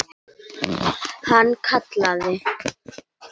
Hann kallaði